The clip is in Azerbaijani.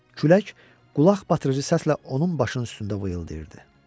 Külək qulaqbatırıcı səslə onun başının üstündə vıyıldayırdı.